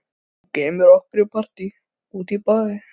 Þú kemur með okkur í partí út í bæ.